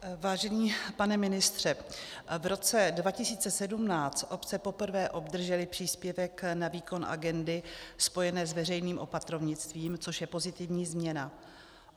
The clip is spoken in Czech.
Vážený pane ministře, v roce 2017 obce poprvé obdržely příspěvek na výkon agendy spojené s veřejným opatrovnictvím, což je pozitivní změna.